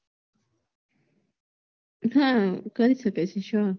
હમ